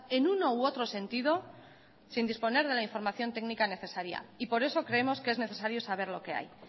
en uno u otro sentido sin disponer de la información técnica necesaria y por eso creemos que es necesario saber lo que hay